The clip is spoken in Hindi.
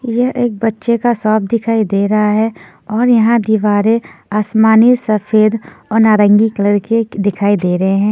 यह एक बच्चे का शॉप दिखाई दे रहा हैं और यहाँ दीवारे आसमानी सफ़ेद और नारंगी कलर की दिखाई दे रहे हैं।